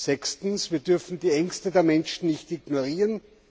Sechstens Wir dürfen die Ängste der Menschen nicht ignorieren.